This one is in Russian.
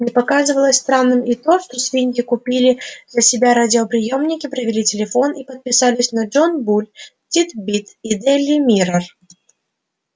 не показалось странным и то что свиньи купили для себя радиоприёмники провели телефон и подписались на джон буль тит-бит и дейли миррор